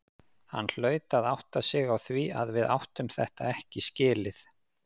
Hann hlaut að átta sig á því að við áttum þetta ekki skilið.